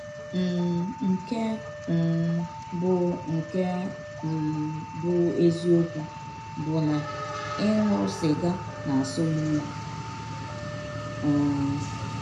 um Nke um bụ́ Nke um bụ́ eziọkwụ bụ na ịṅụ sịga na - asọ m ọyi um.